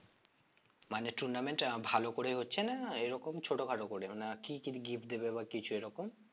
মানে tournament আহ ভালো করে হচ্ছে না এরকম ছোটখাটো করেও না কি কি gift দেবে বা কিছু এরকম?